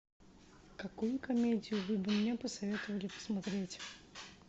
какую комедию вы бы мне посоветовали посмотреть